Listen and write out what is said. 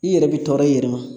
I yɛrɛ bi tɔɔrɔ e yɛrɛ ma